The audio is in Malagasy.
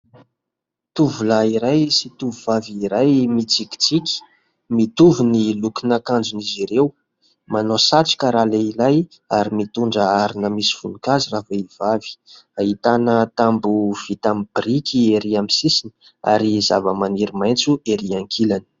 Tovolahy iray sy tovovavy iray mitsikitsiky. Mitovy ny lokon'akanjon'izy ireo. Manao satroka ralehilahy ary mitondra harona misy voninkazo ravehivavy. Ahitana tamboho vita amin'ny biriky ery amin'ny sisiny ary zava-maniry maitso ery ankilany.